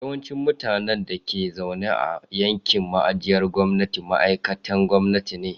Yawancin mutanen da ke zaune a yankin ajiyar gwamnati ma'aikatan gwamnati ne.